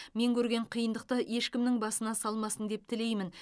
мен көрген қиындықты ешкімнің басына салмасын деп тілеймін